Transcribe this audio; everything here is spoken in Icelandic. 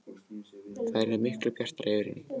Það yrði miklu bjartara yfir henni.